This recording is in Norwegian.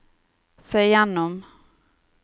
se gjennom